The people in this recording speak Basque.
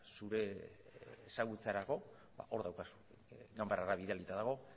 zure ezagutzarako hor daukazu ganbarara bidalita dago